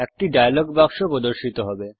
একটি ডায়লগ বাক্স প্রর্দশিত হবে